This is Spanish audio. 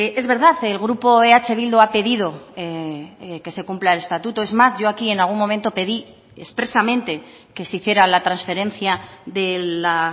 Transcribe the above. es verdad el grupo eh bildu ha pedido que se cumpla el estatuto es más yo aquí en algún momento pedí expresamente que se hiciera la transferencia de la